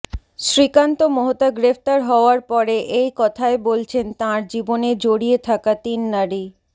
শ্রীকান্ত মোহতা গ্রেফতার হওয়ার পরে এই কথাই বলছেন তাঁর জীবনে জড়িয়ে থাকা তিন নারী